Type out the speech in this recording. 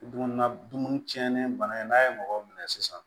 Dumuni na dumuni tiɲɛnen bana in n'a ye mɔgɔw minɛ sisan